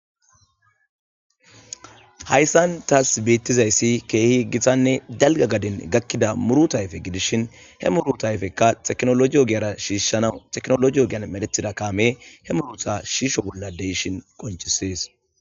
Hayssan tas beetizayssi keehi gitanne dalga gaden gakida muuruta ayfe gidishin he muuruta ayfeka teknoloje ogera shiishanaw teknoloje ogen medhetida kaame he muuruta shiisho bolla de'ishin qoncises.